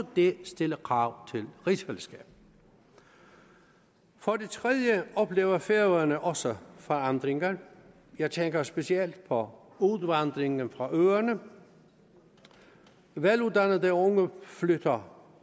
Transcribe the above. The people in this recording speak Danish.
det stiller krav til rigsfællesskabet for det tredje oplever færøerne også forandringer jeg tænker specielt på udvandringen fra øerne veluddannede unge flytter